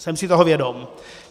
Jsem si toho vědom.